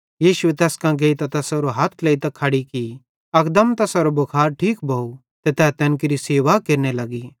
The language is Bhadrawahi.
यीशुए तैस कां गेइतां तैसारो हथ ट्लेइतां खड़ी की अकदम तैसारो भुखार ठीक भोव ते तै तैन केरि सेवा केरने लग्गी